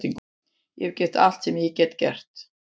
Ég hef gert allt sem ég get.